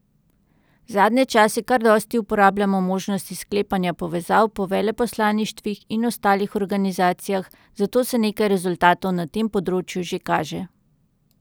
Zadnje čase kar dosti uporabljamo možnosti sklepanja povezav po veleposlaništvih in ostalih organizacijah, zato se nekaj rezultatov na tem področju že kaže.